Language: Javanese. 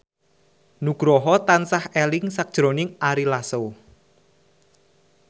Nugroho tansah eling sakjroning Ari Lasso